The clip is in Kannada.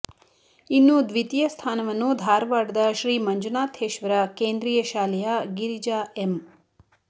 ಇನ್ನು ದ್ವಿತೀಯ ಸ್ಥಾನವನ್ನು ಧಾರವಾಡದ ಶ್ರೀ ಮಂಜುನಾಥೇಶ್ವರ ಕೇಂದ್ರೀಯ ಶಾಲೆಯ ಗಿರಿಜಾ ಎಂ